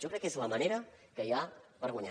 jo crec que és la manera que hi ha per guanyar